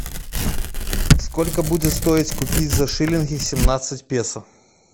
сколько будет стоить купить за шиллинги семнадцать песо